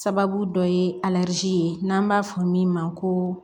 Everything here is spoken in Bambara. Sababu dɔ ye ye n'an b'a fɔ min ma ko